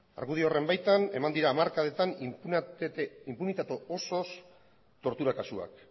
argudio horren baitan eman dira hamarkadetan inpunitate osoz tortura kasuak